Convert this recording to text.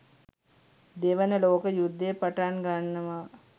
දෙවන ලෝක යුද්ධය පටන් ගන්නවා.